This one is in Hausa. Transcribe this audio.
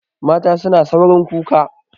Mata suna saurin kuka.